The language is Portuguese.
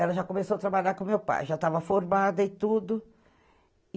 Ela já começou a trabalhar com o meu pai, já estava formada e tudo.